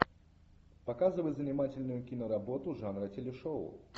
показывай занимательную киноработу жанра телешоу